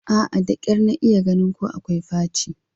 A'a, da kyar na iya ganin ko akwai faci